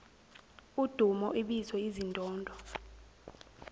udumo ibizo izindondo